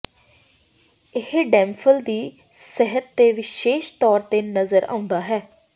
ਇਹ ਡੈਂਫਲ ਦੀ ਸਤਹ ਤੇ ਵਿਸ਼ੇਸ਼ ਤੌਰ ਤੇ ਨਜ਼ਰ ਆਉਂਦਾ ਹੈ